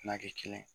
N'a kɛ kelen ye